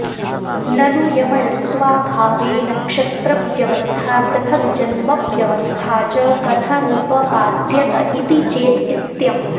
ननु यमळत्वाभावे नक्षत्रव्यवस्था पृथग्जन्मव्यवस्था च कथमुपपाद्यत इति चेत् इत्यम्